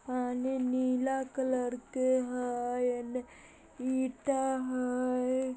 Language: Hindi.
पानी नीला कलर के हय एने ईटा हय।